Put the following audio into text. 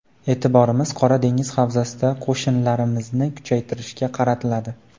E’tiborimiz Qora dengiz havzasida qo‘shinlarimizni kuchaytirishga qaratiladi.